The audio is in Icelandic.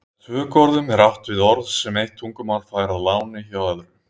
Með tökuorðum er átt við orð sem eitt tungumál fær að láni hjá öðru.